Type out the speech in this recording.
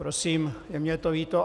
Prosím, je mi to líto.